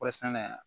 Kɔɔri sɛnɛ